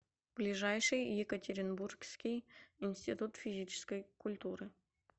ближайший екатеринбургский институт физической культуры